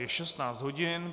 Je 16 hodin.